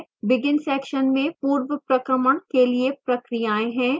begin section में पूर्वप्रक्रमण के लिए प्रक्रियाएं हैं